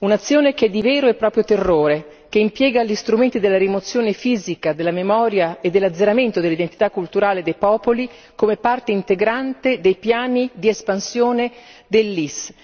Un'azione che è di vero e proprio terrore, che impiega gli strumenti della rimozione fisica della memoria e dell'azzeramento dell'identità culturale dei popoli, come parte integrante dei piani di espansione dell'Isis.